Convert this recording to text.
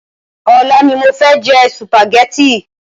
Ọlá ni mofẹ jẹ sùpàgétì